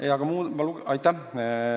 Aitäh!